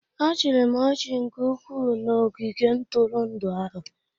Achịrị m ọchị nke ukwuu na ogige ntụrụndụ ahụ